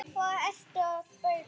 Hvað ertu að bauka?